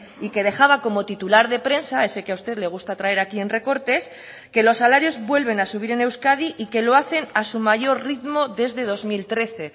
y que dejaba como titular de prensa ese que a usted le gusta traer aquí en recortes que los salarios vuelven a subir en euskadi y que lo hacen a su mayor ritmo desde dos mil trece